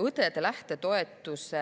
Õdede lähtetoetuse